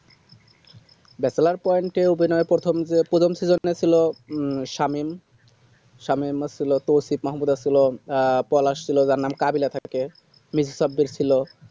bachelor poin এ অভিনয় প্রথমত প্রথম season এ ছিল শামীম শামীমের ছিল তৌফিক মাহাবুদা ছিলেন আহ পলাশ ছিল যার নাম কাবিলায় থাকে miss সাব্বির ছিল